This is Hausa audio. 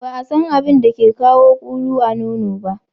Ba a San abin da ke kawo ƙulu a nono ba.